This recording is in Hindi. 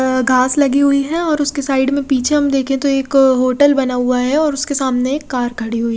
अ घास लगी हुई है और उसके साइड में पीछे हम देखे तो एक होटल बना हुआ है और उसके सामने एक कार खड़ी हुई--